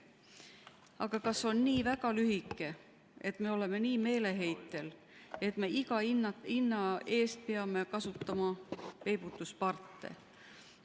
Aga kas see on nii lühike, et me oleme nii meeleheitel, et me iga hinna eest peame kasutama peibutusparte?